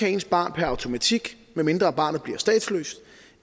at ens barn per automatik medmindre barnet bliver statsløs